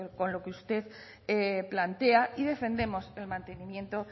con lo que usted plantea y defendemos el mantenimiento